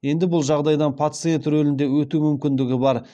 енді бұл жағдайдан пациент рөлінде өту мүмкіндігі бар